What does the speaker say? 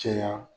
Caya